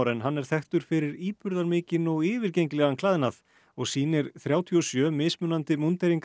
en hann er þekktur fyrir íburðarmikinn og yfirgengilegan klæðnað og sýnir þrjátíu og sjö mismunandi